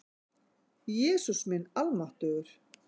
Jesús minn almáttugur!